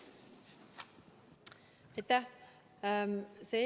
Aitäh!